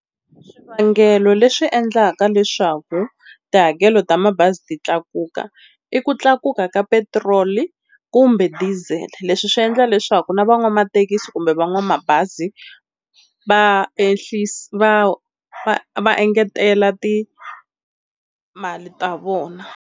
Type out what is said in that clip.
Swivangelo leswi endlaka leswaku tihakelo ta mabazi ti tlakuka i ku tlakuka ka petiroli, kumbe diesel leswi swi endla leswaku na van'wamathekisi kumbe van'wamabazi va ehlisa va va va engetela timali ta vona.